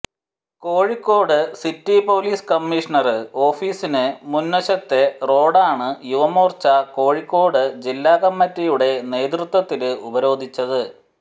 Kozhikode city police commissioner ഓഫീസിന് മുന്വശത്തെ റോഡാണ് യുവമോര്ച്ച കോഴിക്കോട് ജില്ലാകമ്മിറ്റിയുടെ നേതൃത്വത്തില് ഉപരോധിച്ചത്